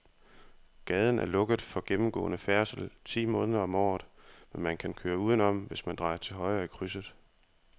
Gaden er lukket for gennemgående færdsel ti måneder om året, men man kan køre udenom, hvis man drejer til højre i krydset.